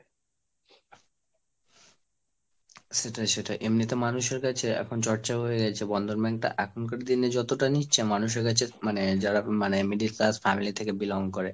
সেটাই সেটাই এমনি তো মানুষের কাছে এখন চর্চা হয়ে গেছে। Bandhan Bank টা এখনকার দিনে যতটা নিচ্ছে, মানুষের কাছে মানে যারা মানে middle class family থেকে belong করে,